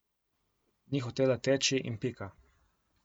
Ni hotela teči in pika.